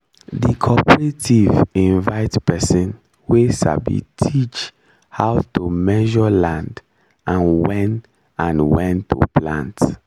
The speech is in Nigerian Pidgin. the cooperative invite person wey sabi teach how to measure land and when and when to plant